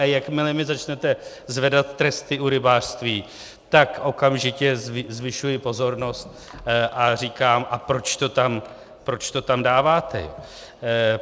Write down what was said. A jakmile mi začnete zvedat tresty u rybářství, tak okamžitě zvyšuji pozornost a říkám: A proč to tam dáváte?